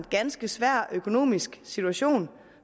ganske svær økonomisk situation